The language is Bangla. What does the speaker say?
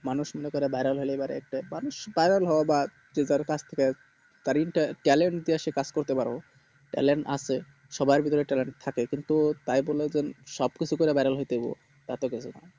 মানুষ মনে করে viral হলে পরে একটা মানুষ viral হও যা কারো কাছ থেকে talent সে কাজ করতে পারো talent আছে সবার ভিতরে talent থাকে কিন্তু তাই বলে কি সব কিছু করে কি viral হতে হইবো